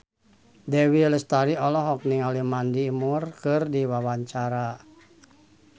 Dewi Lestari olohok ningali Mandy Moore keur diwawancara